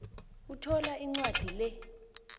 uthola incwadi le